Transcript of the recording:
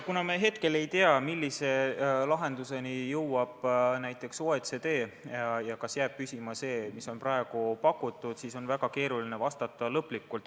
Kuna me ei tea, millise lahenduseni jõuab OECD ja kas jääb püsima lahendus, mis on praegu pakutud, siis on väga keeruline vastata.